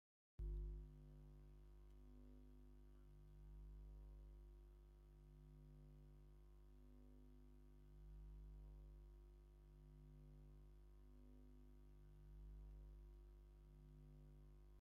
እዛ ጓል ኣነስተይቲ ብዘተፈላለዩ ዓይነታት ሃሪ ዝተጠለፈ ጥልፊ ተኸዲና ኣብ ፅቡቕ ሶፋ ኮፍ ኢላ እንዳሰሓቀትን ንቅድሚት እንዳጠመተትን ኣላ ኣብ ቅድሚኣ ዝረኣያ ዘሎ እንታይ እዩ?